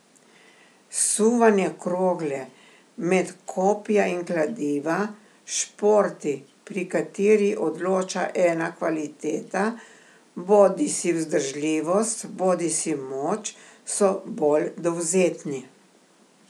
Suvanje krogle, met kopja in kladiva, športi, pri kateri odloča ena kvaliteta, bodisi vzdržljivost bodisi moč, so bolj dovzetni.